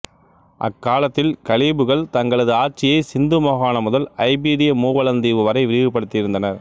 அக்காலத்தில் கலீபுகள் தங்களது ஆட்சியைச் சிந்து மாகாணம் முதல் ஐபீரிய மூவலந்தீவு வரை விரிவுபடுத்தி இருந்தனர்